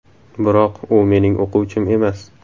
Biroq u mening o‘quvchim emas.